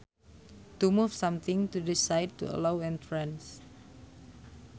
To move something to the side to allow entrance